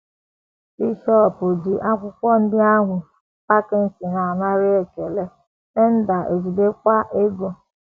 “ Bishọp ji akwụkwọ ndị ahụ, Packington anara ekele, Tyndale ejidekwa ego. ”